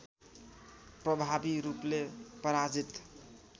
प्रभावी रूपले पराजित